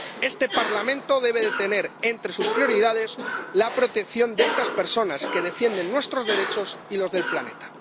Este Parlamento debe tener entre sus prioridades la protección de estas personas, que defienden nuestros derechos y los del planeta.